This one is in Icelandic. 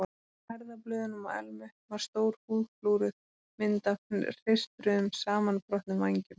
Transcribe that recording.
Á herðablöðunum á Elmu var stór húðflúruð mynd af hreistruðum, samanbrotnum vængjum.